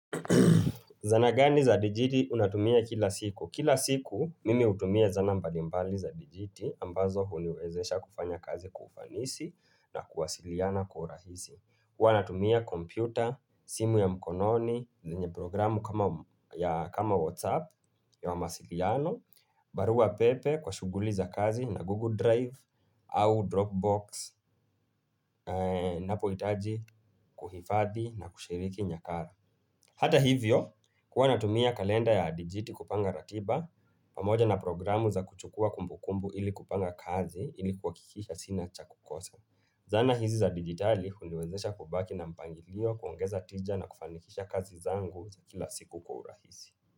Zana gani za DGT unatumia kila siku Kila siku mimi hutumia zana mbalimbali za DGT ambazo huniwezesha kufanya kazi kwa ufanisi na kuwasiliana kwa urahisi huwa natumia kompyuta, simu ya mkononi, zenye programu kama Whatsapp ya wa mawasiliano barua pepe kwa shughuli za kazi na Google Drive au Dropbox Napo hitaji kuhifadhi na kushiriki nyakara Hata hivyo, huwa natumia kalenda ya dijiti kupanga ratiba, pamoja na programu za kuchukua kumbukumbu ili kupanga kazi ili kuhakikisha sina cha kukosa. Zana hizi za digitali huniwezesha kubaki na mpangilio kuongeza tija na kufanikisha kazi zangu za kila siku kwa urahisi.